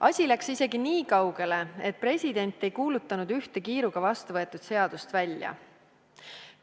Asi läks isegi niikaugele, et president ei kuulutanud ühte kiiruga vastu võetud seadust välja.